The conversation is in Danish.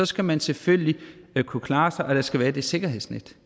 skal man selvfølgelig kunne klare sig og der skal være det sikkerhedsnet